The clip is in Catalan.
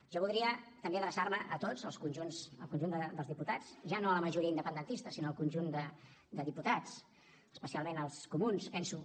jo voldria també adreçar me a tots al conjunt dels diputats ja no a la majoria independentista sinó al conjunt de diputats especialment als comuns penso